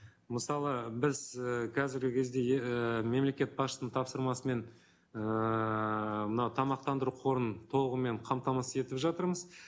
мысалы біз і қазіргі кезде е ііі мемлекет басшысының тапсырмасы мен ііі мынау тамақтандыру қорын толығымен қамтамасыз етіп жатырмыз